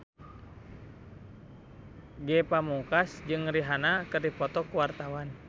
Ge Pamungkas jeung Rihanna keur dipoto ku wartawan